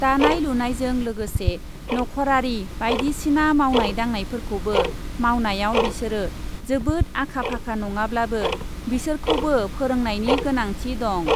दानाय लुनायजों लोगोसे नख ' रारी बाइदिसिना मावनाय दांनायफोरखौबो मावनायाव बिसोरो जोबोद आका फाखा नङाब्लाबो बिसोरखौबो फोरोंनायनि गोनांथि दं ।